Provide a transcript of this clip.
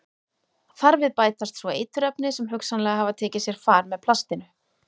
Þar við bætast svo eiturefni sem hugsanlega hafa tekið sér far með plastinu.